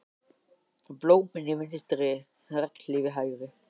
Blómin í vinstri, regnhlíf í hægri.